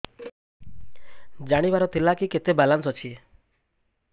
ଜାଣିବାର ଥିଲା କି କେତେ ବାଲାନ୍ସ ଅଛି